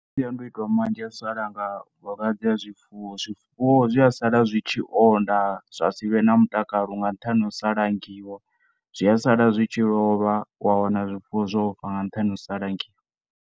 Masiandoitwa manzhi a u sa langa malwadze a zwifuwo, zwifuwo zwi asala zwi tshi onda zwa sivhe na mutakalo nga nṱhane ha u sa langiwa zwi a sala zwitshi lovha wa wana zwifuwo zwo fa nga nṱhane ha u sa langiwa.